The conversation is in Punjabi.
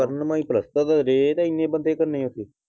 ਕਰਨ ਮਾਈ ਪਲਸਤਰ ਡਏ ਤੇ ਏਨੇ ਬੰਦੇ ਕੀ ਕਰਨੇ ਓਥੇ।